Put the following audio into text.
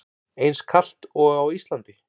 Eins kalt og á Íslandi?